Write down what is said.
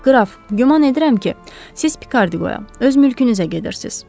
Qraf, güman edirəm ki, siz Pikardiyaya, öz mülkünüzə gedirsiz.